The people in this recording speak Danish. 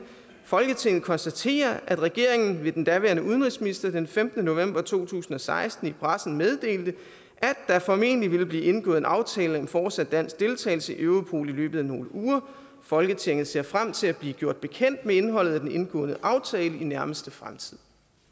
folketinget konstaterer at regeringen ved den daværende udenrigsminister den femtende november to tusind og seksten i pressen meddelte at der formentlig ville blive indgået en aftale om fortsat dansk deltagelse i europol i løbet af nogle uger folketinget ser frem til at blive gjort bekendt med indholdet af den indgåede aftale i nærmeste fremtid